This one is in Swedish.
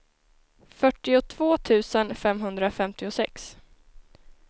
fyrtiotvå tusen femhundrafemtiosex